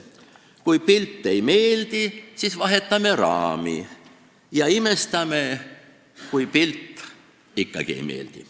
Kui pilt ei meeldi, siis vahetame raami ja imestame, miks pilt ikkagi ei meeldi.